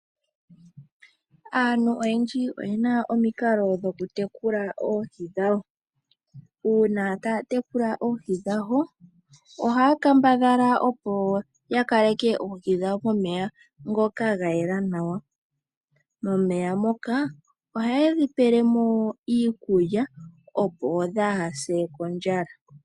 Aantu oyendji oyena omikalo dhokutekula oohi dhawo. Uuna taya tekula oohi dhawo ohaya kambadhala opo ya kaleke oohi dhawo momeya ngoka ga yela nawa. Momeya moka ohaye dhi pele mo iikulya opo dhaa hase kondjala.